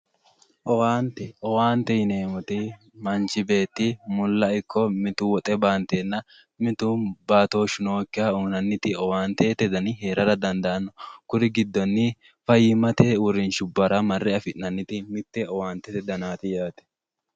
Owaante, owaante yineemmoti manchi beetti mulla ikko mitu woxe baantenna mitu baattoshu nookkiha uyinanniti owaantete danni heerara dandaano kuri giddonni fayyimate uurishubbara marre afi'nanniti mite owaantete dannati yaate.